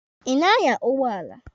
Ị na-anya ụgbọala?